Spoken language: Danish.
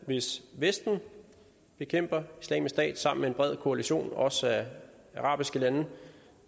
hvis vesten bekæmper islamisk stat sammen med en bred koalition af også arabiske lande